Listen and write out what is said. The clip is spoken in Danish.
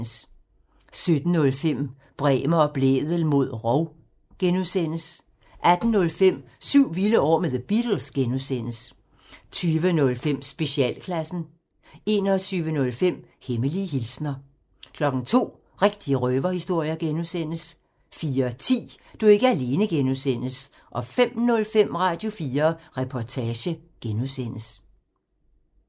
17:05: Bremer og Blædel mod rov (G) 18:05: Syv vilde år med The Beatles (G) 20:05: Specialklassen 21:05: Hemmelige hilsner 02:00: Rigtige røverhistorier (G) 04:10: Du er ikke alene (G) 05:05: Radio4 Reportage (G)